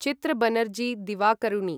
चित्र बनर्जी दिवाकरुणी